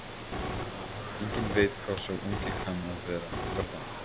Enginn veit hvað sá ungi kann að verða.